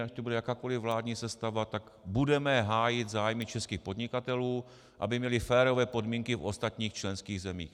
Ať tu bude jakákoliv vládní sestava, tak budeme hájit zájmy českých podnikatelů, aby měli férové podmínky u ostatních členských zemí.